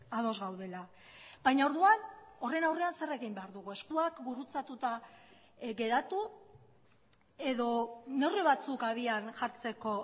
ados gaudela baina orduan horren aurrean zer egin behar dugu eskuak gurutzatuta geratu edo neurri batzuk habian jartzeko